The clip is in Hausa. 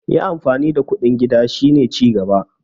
yin amfani da kuɗin gida shi ne cigaba